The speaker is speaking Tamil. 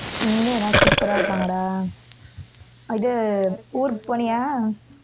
இங்க எல்லாம் super ஆ இருக்காங்கடா இது ஊருக்கு போனியா